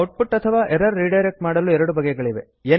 out ಪುಟ್ ಅಥವಾ error redirect ಮಾಡಲು 2 ಬಗೆಗಳಿವೆ